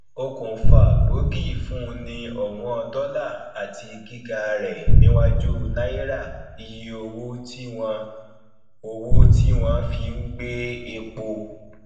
okùnfà gbogi fún ni òwón dollar àti gíga rẹ níwájú náírà iye owó tí wọn owó tí wọn fí ń gbé epo